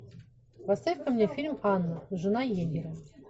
поставь ка мне фильм анна жена егеря